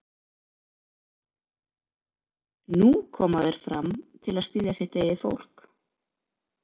Nú koma þeir fram til að styðja sitt eigið fólk?